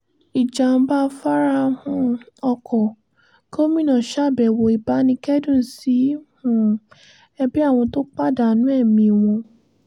ìjàḿbà afárá um ọkọ̀- gomina ṣàbẹ̀wò ìbánikẹ́dùn sí um ẹbí àwọn tó pàdánù ẹ̀mí wọn